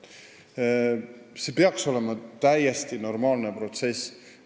See peaks olema täiesti normaalne protsess.